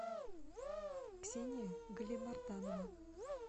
ксения галимартанова